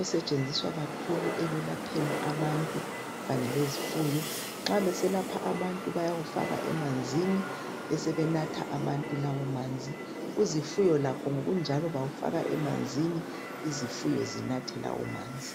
osetshenziswa kakhulu ekwelapheni abantu kanye lezifuyo, nxa beselapha abantu bayawufaka emanzini besebenatha abantu lawo manzi kuzifuyo lakho ngokunjalo bawufaka emanzini izifuyo zinathe lawo manzi.